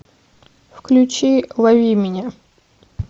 включи лови меня